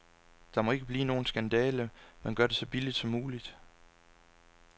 Der må ikke blive nogen skandale, men gør det så billigt som muligt.